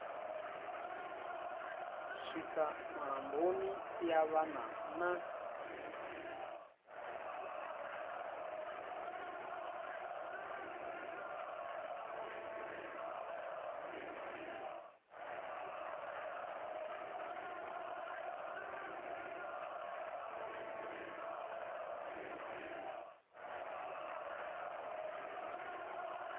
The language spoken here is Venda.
swika mulamboni ya wana na